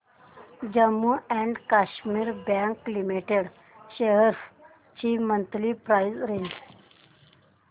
Jammu and Kashmir bank limited shares ची monthly price range